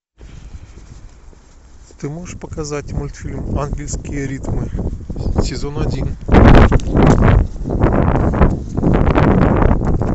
ты можешь показать мультфильм ангельские ритмы сезон один